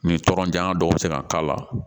Ni tɔɔrɔ janya dɔ bɛ se ka k'a la